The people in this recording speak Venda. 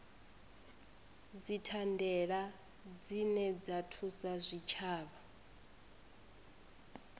dzithandela dzine dza thusa zwitshavha